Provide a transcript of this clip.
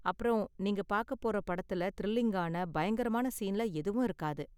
அப்பறம் நீங்க பாக்க போற படத்துல த்ரில்லிங்கான பயங்கரமான சீன்ல எதுவும் இருக்காது.